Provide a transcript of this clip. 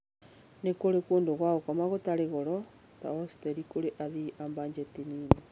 Nĩ kũrĩ kũndũ gwa gũkoma gũtarĩ goro ta hociteri kũrĩ athii a mbanjeti nini.